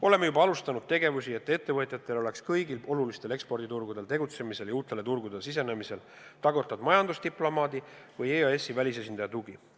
Oleme juba alustanud tegevusi, et ettevõtjatel oleks kõigil olulistel eksporditurgudel tegutsemisel ja uutele turgudele sisenemisel tagatud majandusdiplomaadi või EAS-i välisesindaja tugi.